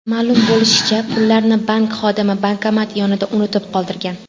Ma’lum bo‘lishicha, pullarni bank xodimi bankomat yonida unutib qoldirgan.